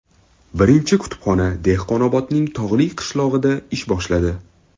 Birinchi kutubxona Dehqonobodning tog‘li qishlog‘ida ish boshladi.